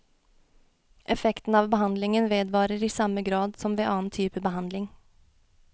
Effekten av behandlingen vedvarer i samme grad som ved annen type behandling.